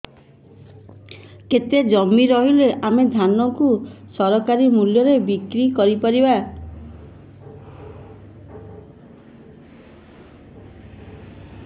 କେତେ ଜମି ରହିଲେ ଆମେ ଧାନ କୁ ସରକାରୀ ମୂଲ୍ଯରେ ବିକ୍ରି କରିପାରିବା